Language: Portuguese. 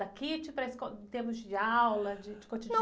Da, para a esco, em termos de aula, de, de cotidiano?ão...